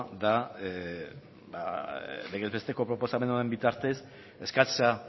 da legez besteko proposamen honen bitartez eskatzea